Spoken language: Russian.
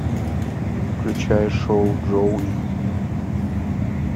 включай шоу джоуи